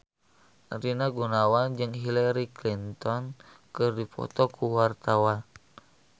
Rina Gunawan jeung Hillary Clinton keur dipoto ku wartawan